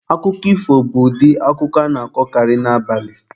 Akụkọ ifo bụ ụdị akụkọ a na-akọkarị n'abalị.